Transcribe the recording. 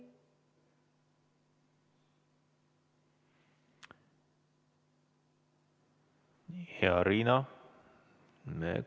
Hea Riina!